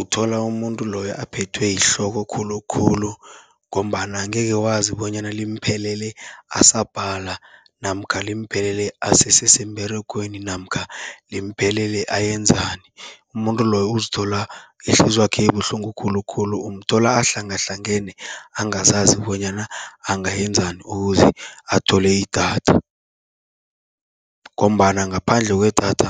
Uthola umuntu loyo aphethwe yihloko khulukhulu, ngombana angeke wazi bonyana limphelele asabhala, namkha limphelele asese semberegweni namkha limphelele ayenzani. Umuntu loyo uzithola ihliziywakhe ibuhlungu khulukhulu, umthola ahlangahlangane angazazi bonyana angayenzani ukuze athole idatha. Ngombana ngaphandle kwedatha